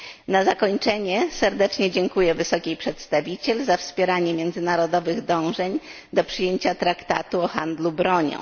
Na zakończenie serdecznie dziękuję Wysokiej Przedstawiciel za wspieranie międzynarodowych dążeń do przyjęcia traktatu o handlu bronią.